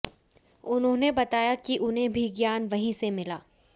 उन्होंने बताया कि उन्हें भी ज्ञान वहीं से मिला